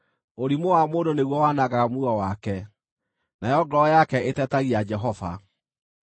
Ũrimũ wa mũndũ nĩguo wanangaga muoyo wake, nayo ngoro yake ĩtetagia Jehova.